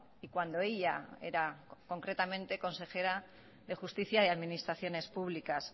y cuando ella era concretamente consejera de justicia y administraciones públicas